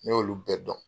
Ne y'olu bɛɛ dɔn